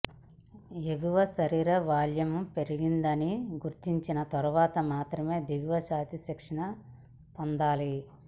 ఎగువ శరీర వాల్యూమ్ పెరిగిందని గుర్తించిన తర్వాత మాత్రమే దిగువ ఛాతీ శిక్షణ పొందాలి